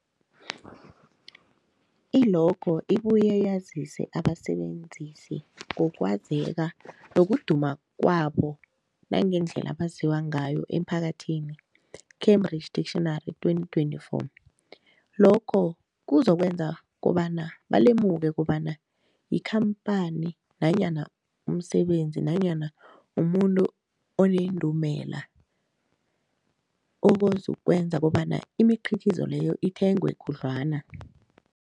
I-logo ibuye yazise abasebenzisi ngokwazeka nokuduma kwabo nangendlela abaziwa ngayo emphakathini, Cambridge Dictionary 2024. Lokho kuzokwenza kobana balemuke kobana yikhamphani nanyana umsebenzi nanyana umuntu onendumela, okuzokwenza kobana imikhiqhizo leyo ithengwe khudlwana.